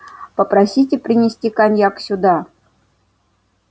попросите принести коньяк сюда